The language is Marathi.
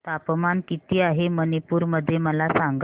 तापमान किती आहे मणिपुर मध्ये मला सांगा